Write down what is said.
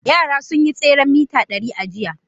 Yara sun yi tseren mita dari a jiya.